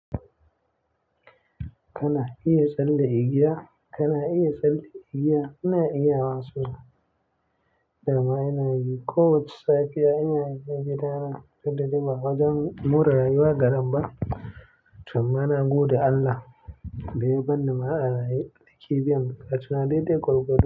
Kana iya tsalle igiya? Kana iya tsalle igiya? Ina iya so dama ina yi. Ko wace safiya ina yi, ina gida na, tunda ba wajen more rayuwa garan ba. To ma na gode Allah, da yabar ni ma a raye nake biyan buƙatuna daidai gwargwado.